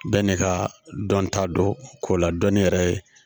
Bɛɛ n'i ka dɔnta don ko la dɔnni yɛrɛ ye